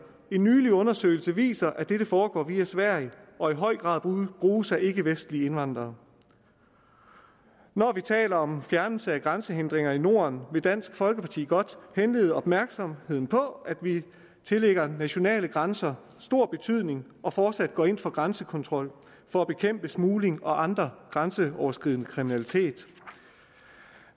en nylig undersøgelse viser at dette foregår via sverige og i høj grad bruges af ikkevestlige indvandrere når vi taler om fjernelse af grænsehindringer i norden vil dansk folkeparti godt henlede opmærksomheden på at vi tillægger nationale grænser stor betydning og fortsat går ind for grænsekontrol for at bekæmpe smugling og andre former grænseoverskridende kriminalitet